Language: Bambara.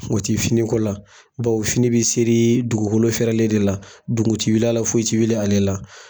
O ti finiko la bawo fini bi seri dugukolo fɛrɛlen de la dugun ti wuli a la foyi ti wuli ale la.